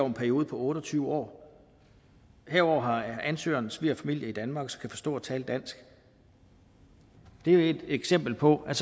en periode på otte og tyve år herudover har ansøgeren svigerfamilie i danmark og kan forstå og tale dansk det er jo et eksempel på at